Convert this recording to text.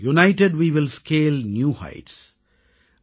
united Way will scale new heights